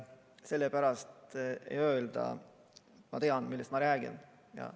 Sellepärast, et öelda, et ma tean, millest räägin.